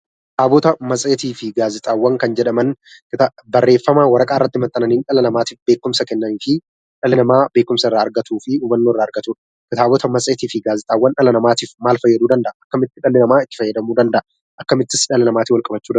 Kitaabotaa, matseeti fi gaazexaawwan kan jedhamaan barreeffamaa waraqaa irratti maxananni dhala namatiif beekumsaa kennani fi dhali nama beekumsaa irra argatuu fi hubannoo irra argatuudha. Kitaabotaa, matseeti fi gaazexaawwan maal faayaduu danda'a, akkamitti dhali nama itti faayadamuu danda'aa, akkamittis dhala namaatiin wal qabachuu danda'a?